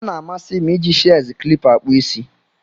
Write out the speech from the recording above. Ọna amasi m iji shears klipa akpụ isi.